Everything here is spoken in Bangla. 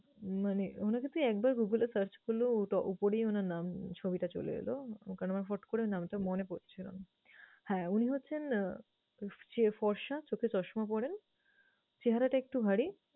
মানে উনাকে তুই একবার google এ search করলেও ওটা উপরেই উনার নাম ছবিটা চলে এলো। কারণ আমার ফট করে নামটা মনে পরছে না। হ্যাঁ উনি হচ্ছেন যে ফর্সা, চোখে চশমা পরেন, চেহারাটা একটূ ভারী